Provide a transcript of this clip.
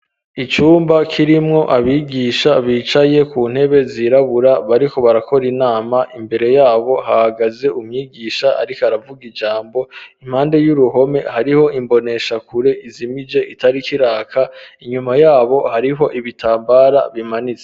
Icumba kirimwo abigisha bicaye ku ntebe zirabura bariko barakora inama imbere yabo hahagaze umwigisha ariko aravuga ijambo impande y'uruhome hariho imboneshakure izimije itariko iraka, inyuma yabo hariho ibitambara bimanitse.